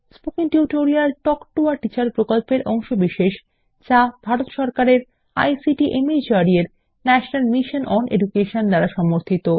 spoken tutorial talk to a teacher প্রকল্পের অংশবিশেষ যা ভারত সরকারের আইসিটি মাহর্দ এর ন্যাশনাল মিশন ওন এডুকেশন দ্বারা সমর্থিত